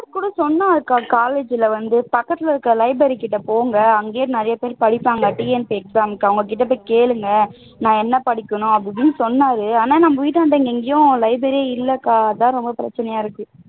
சொன்னார்க்கா college ல வந்து பக்கத்துல இருக்கிற library கிட்ட போங்க அங்கேயே நிறையபேர் படிப்பாங்க TNPSC exam க்கு அவங்க கிட்ட போய் கேளுங்க நான் என்ன படிக்கணும் அப்படி இப்படின்னு சொன்னார் ஆனா நம்ம வீட்டுகிட்ட எங்கயும் library ஏ இல்லைக்கா